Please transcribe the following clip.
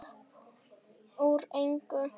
Uppúr engu?